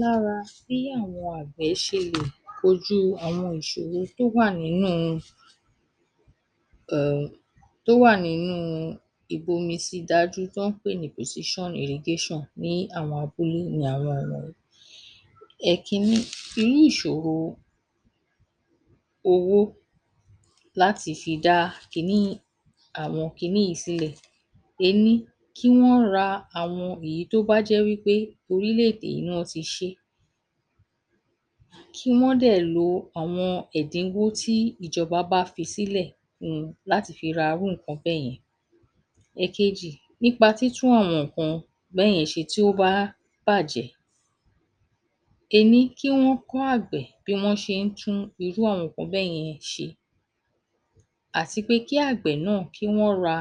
Lára bí àwọn àgbẹ̀ ṣe lè kojú àwọn ìṣòro tó wà nínúu um tó wà nínúu ìbomisí dájú tán wọ́n pè ní pòsíṣán irigéṣàn ní àwọn abúlé ni àwọn wọ̀nyí. Ẹ̀kínní: Irú ìṣòro owó láti fi dá kiní àwọn kinní ìí sílẹ̀. Ení, kí wọ́n ra àwọn èyí tó bá jẹ́ wí pé orílẹ̀-èdè í ni wọ́n ti sé. Kí wọ́n dẹ̀ lo àwọn ẹ̀dínwó tí ìjọba bá fi sílẹ̀ fún láti fi ra irú nǹkan bẹ́ẹ̀. Ẹ̀kejì: Nípa títún àwọn nǹkan bẹ́yẹn ṣe tí ó bá bàjẹ́. Ení, kí wọ́n kọ́ àgbẹ̀ bí wọ́n ṣe ń tún irú àwọn nǹkan bẹ́yẹn ṣe àti pé kí àgbẹ̀ náà kí wọ́n ra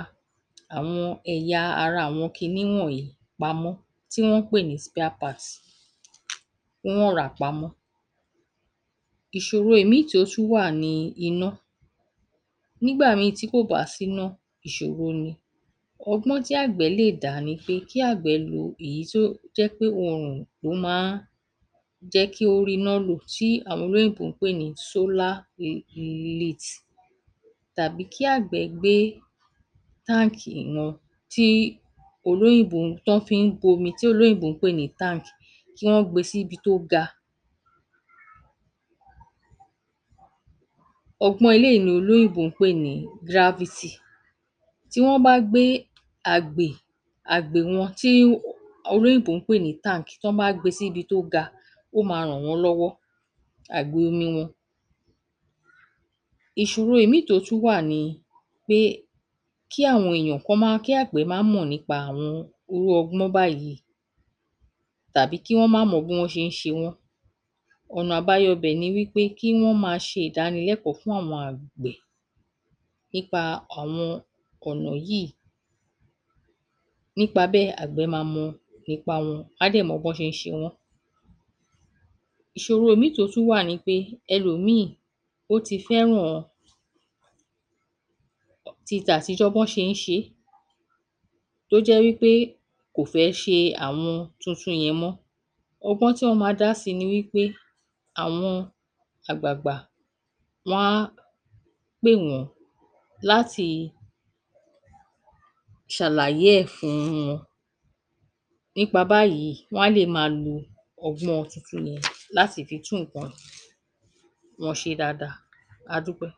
àwọn ẹ̀yà ara àwọn kinní wọ̀nyí pamọ́ tí wọ́n ń pè ní spíá-paàt, kí wọ́n rà á pamọ́. Ìṣòro èmíìn tí ó wà ni iná. Nígbà mìíìn tí kò bá síná ìṣòro ni. Ọgbọ́n tí àgbẹ̀ lè dá ní pé kí àgbẹ̀ lọ èyí tíó jẹ́ pé wọn ò, ó má ń jẹ́ kí ó ríná lò tí àwọn olóyìnbó ń pè ní sólá um. Tàbí kí àgbẹ̀ gbé táńkì wọn tíí olóyìnbó tán fi ń bomi tí olóyìnbó ń pè ní tánǹk, kí wọ́n gbe síbi tó ga. Ọgbọ́n eléìí ni olóyìnbó ń pè ní gráfítì. Tí wọ́n bá gbé àgbè àgbè wọn tí olóyìnbó ń pè ní tánǹk, tí wọ́n bá gbé e síbi tó ga ó máa ràn wọ́n lọ́wọ́, àgbè omi wọn. Ìṣòro ìmíìn tó tún wà ni pé kí àwọn èèyàn kán má kí àgbẹ̀ má mọ̀ nípa àwọn irú ọgbọ́n báyìí tàbí kí wọ́n má mọ bí wọn ṣe le ṣe wọ́n. Ọ̀nà àbáyọ ‘bẹ̀ ni wí pé kí wọ́n máa ṣe ìdánilẹ́kọ̀ọ́ fún àwọn àgbẹ̀ nípa àwọn ọ̀nà yìí. Nípa bẹ́ẹ̀ àgbẹ̀ ma mọ ipa wọn á dẹ̀ bọ́n ṣe ń ṣe wọ́n. Ìṣòro mìíìn tó tún wà ni pé ẹlòmíìn ó ti fẹ́ràn um titàtijọ́ bọ́n ṣe ń ṣe é. Tó jẹ́ wí pé kò fẹ́ ṣe àwọn tuntun yẹn mọ́. Ọgbọ́n tí wọ́n ma dá sí i ni wí pé àwọn àgbàgbà wọ́n á pè wọ́n láti ṣàlàyé ẹ̀ fúún wọn. Nípa báyìí wọ́n á lè máa lo ọgbọ́n ọn tuntun yẹn láti fi tún nǹkan wọn ṣe dáadáa. A dúpẹ́